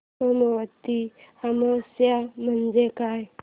सोमवती अमावस्या म्हणजे काय